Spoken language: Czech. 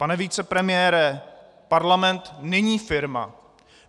Pane vicepremiére, parlament není firma.